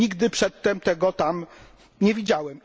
Nigdy przedtem tego tam nie widziałem.